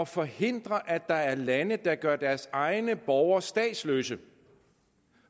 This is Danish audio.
forhindre at der er lande der gør deres egne borgere statsløse